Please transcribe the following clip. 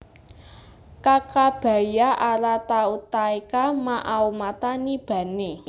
Kakabaia ara Tautaeka Ma aomata ni bane